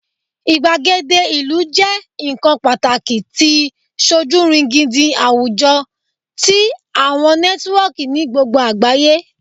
igbagede ilu jẹ nkan pataki ti sojurigindin awujọ ti awọn nẹtiwọọki ni gbogbo agbaye